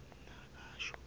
nakasho